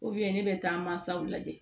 ne bɛ taa mansaw lajɛ